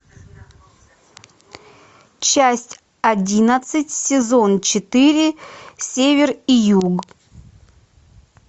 часть одиннадцать сезон четыре север и юг